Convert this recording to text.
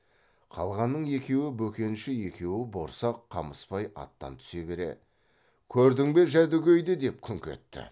қалғанының екеуі бөкенші екеуі борсақ қамысбай аттан түсе бере көрдің бе жәдігөйді деп күңк етті